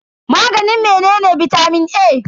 Maganin menene bitamin A?